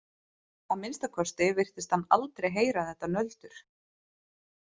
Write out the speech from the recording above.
Að minnsta kosti virtist hann aldrei heyra þetta nöldur.